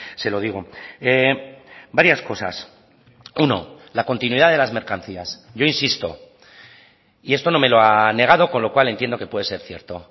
se lo digo varias cosas uno la continuidad de las mercancías yo insisto y esto no me lo ha negado con lo cual entiendo que puede ser cierto